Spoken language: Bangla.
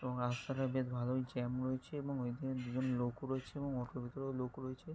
এবং রাস্তাটা বেশ ভালোই জ্যাম রয়েছে এবং ওইখানে দুজন লোক রয়েছে এবং অনেকগুলো লোক রয়েছে।